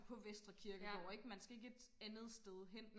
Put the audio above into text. på Vestre kirkegård ikke man skal ikke et andet sted hen